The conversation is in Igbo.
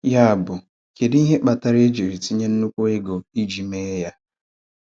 Yàbụ, kèdú ihe kpatara e ji tinye ńnụ̀kwú ego íji mee ya?